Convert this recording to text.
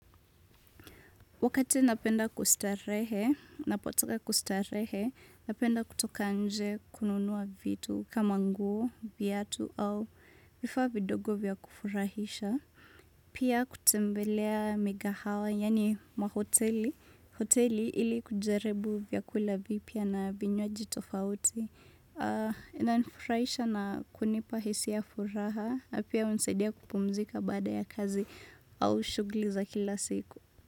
Wakati napenda kustarehe, napotaka kustarehe, napenda kutoka nje kununua vitu kama nguo, viatu au vifaa vidogo vya kufurahisha. Pia kutembelea mikahawa, yaani mahoteli. Hoteli ili kujaribu vyakula vipya na vinywaji tofauti. Inanifurahisha na kunipa hisia furaha, na pia hunisaidia kupumzika baada ya kazi au shughuli za kila siku.